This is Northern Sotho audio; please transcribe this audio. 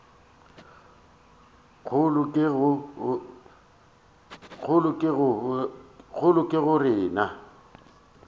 kgolo ke go re na